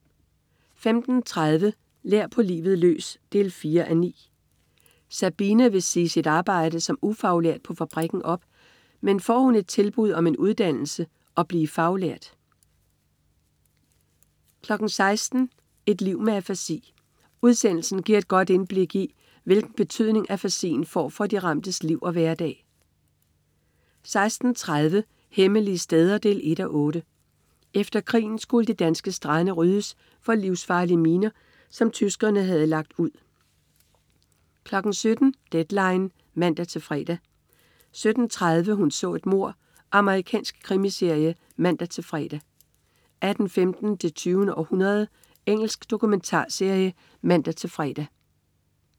15.30 Lær på livet løs 4:9. Sabina vil sige sit arbejde som ufaglært på fabrikken op, men får hun et tilbud om en uddannelse og blive faglært 16.00 Et liv med afasi. Udsendelsen giver et godt indblik i, hvilken betydning afasien får for de ramtes liv og hverdag 16.30 Hemmelige steder 1:8. Efter krigen skulle de danske strande ryddes for livsfarlige miner, som tyskerne havde lagt ud 17.00 Deadline 17.00 (man-fre) 17.30 Hun så et mord. Amerikansk krimiserie (man-fre) 18.15 Det 20. århundrede. Engelsk dokumentarserie (man-fre)